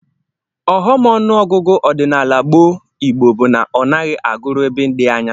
Ọghọm ọnụọgụgụ ọdịnala gboo Igbo bụ na ọ naghị agụru ebe dị anya